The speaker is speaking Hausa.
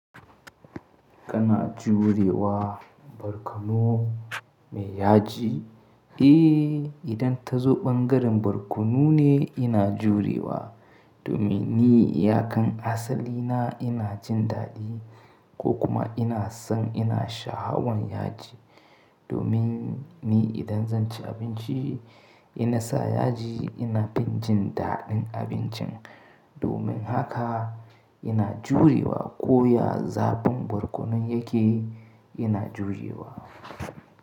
Kana juriwa barkono mai yaji? Eh, idan ta zo ɓangaren barkono ne ina juriwa domin ni iyakun asali na ina jin daɗi ko kuma ina son ina sha hawan yaji. Domin ni idan zan ci abinci ina sa yaji ina bin jin daɗin abincin. Domin haka ina juriwa ko ya zaɓin barkonon yake ina juriwa.